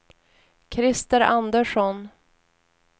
Christer Andersson